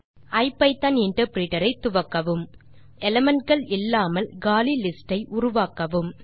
ஐபிதான் interpreter ஐ துவக்கவும் முதலில் elementகள் இல்லாமல் காலி லிஸ்ட் ஐ உருவாக்கவும்